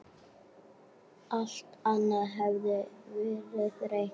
Alt annað hafði verið reynt.